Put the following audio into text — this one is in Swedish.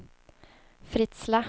Fritsla